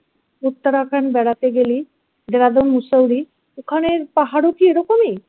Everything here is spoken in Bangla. uttarakhand বেড়াতে গেলি ওখানের পাহাড়ও কি এরকমই